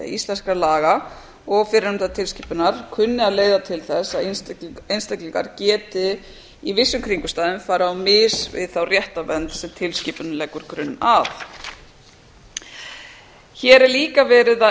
íslenskra laga og fyrrnefndrar tilskipunar kunni að leiða til þess að einstaklingar geti í vissum kringumstæðum farið á mis við þá réttarvernd sem tilskipunin leggur grunn að hér er líka verið að